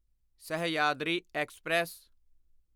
Sahyadri express